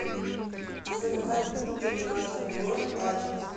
заказать бургеры на дом город ачинск